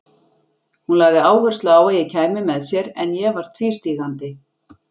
Hún lagði áherslu á að ég kæmi með sér en ég var tvístígandi.